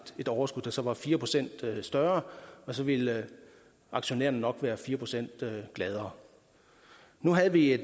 et overskud der så var fire procent større og så ville aktionærerne nok være fire procent gladere nu havde vi